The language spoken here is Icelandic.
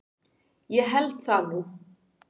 Ég held það nú.